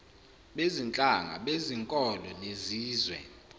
bezinhlanga bezinkolo nezizwe